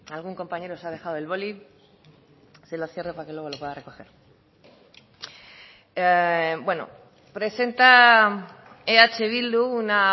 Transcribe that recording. algún compañero se ha dejado el boli se lo cierro para que luego lo pueda recoger bueno presenta eh bildu una